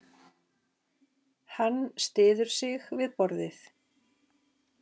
Hann styður sig við borðið.